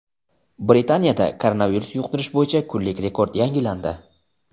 Britaniyada koronavirus yuqtirish bo‘yicha kunlik rekord yangilandi.